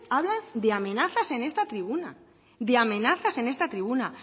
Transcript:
hablan de amenazas en esta tribuna de amenazas en esta tribuna